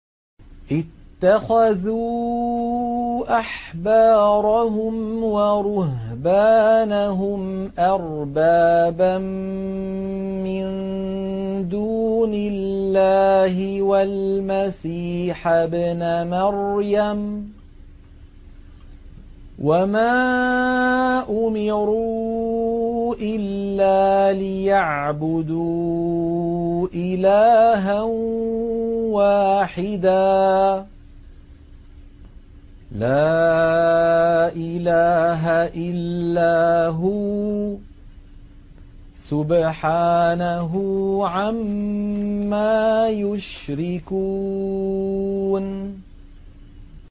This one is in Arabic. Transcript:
اتَّخَذُوا أَحْبَارَهُمْ وَرُهْبَانَهُمْ أَرْبَابًا مِّن دُونِ اللَّهِ وَالْمَسِيحَ ابْنَ مَرْيَمَ وَمَا أُمِرُوا إِلَّا لِيَعْبُدُوا إِلَٰهًا وَاحِدًا ۖ لَّا إِلَٰهَ إِلَّا هُوَ ۚ سُبْحَانَهُ عَمَّا يُشْرِكُونَ